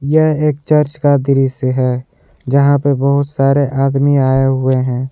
यह एक चर्च का दृश्य है यहां पे बहुत सारे आदमी आए हुए हैं।